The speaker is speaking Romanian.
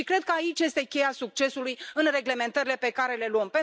Și cred că aici este cheia succesului în reglementările pe care le luăm.